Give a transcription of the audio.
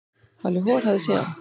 Halli hor hafði séð hann.